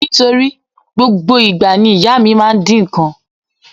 Nítorí gbogbo ìgbà ni ìyá mi máa ń dín nǹkan.